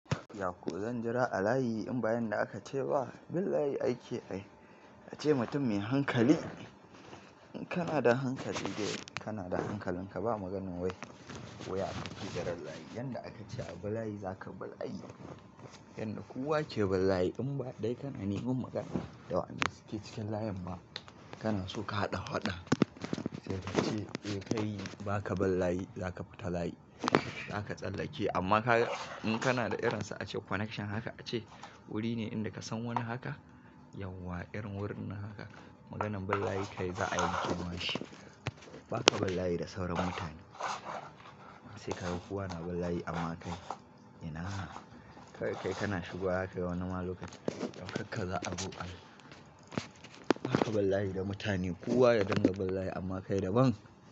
Yako zan jira a layi in ba yanda aka ce ba, Lallai aiki kai. A ce mutum mai hankali, in kana da hankali dai kana da hankali ka ba magana wai. Wuya ka fijira layi yanda aka ce a bi layi za ka bar aikii. Yanda kowa ke bi layi in ba dai kana neman magana da waenda suke cikin layin ma kana so ka haɗa faɗa. Sai ka ce, eh, kai ba ka bin layi za ka fita layi. Zaka tsallake amma kai in kana da irinsa a ce connection haka a ce wuri ne inda ka san wani haka yauwa, irin wurin nan haka maganan bi layi kai za a yanke ma shi. Ba ka ballayi da sauran mutane. Sai ka ga kowa na bi layi amma kai, in na! Kawai kai kana shigowa kayi wannan wa lokaci kamar ka za'a koma. Ba ka bi layi da mutane kowa ya dinga bi layi amma kai daban.